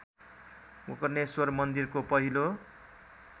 गोकर्णेश्वर मन्दिरको पहिलो